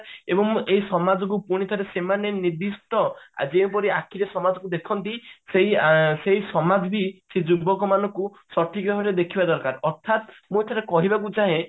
ଏବଂ ଏହି ସମାଜ କୁ ପୁଣି ଥରେ ସେମାନେ ନିଧୀଷ୍ଟ ଯେଉଁପରି ସମାଜ କୁ ଆଖିରେ ଦେଖନ୍ତି ସେଇ ସେଇ ସମାଜ ବି ସେ ଯୁବକ ମାନଙ୍କୁ ସଠିକ ଭାବରେ ଦେଖିବା ଦରକାର ଅର୍ଥାତ ମୁଁ ଏଥିରେ କହିବାକୁ ଚାହେଁ